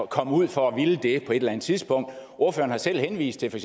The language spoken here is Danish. komme ud for at ville det på et eller andet tidspunkt ordføreren har selv henvist til for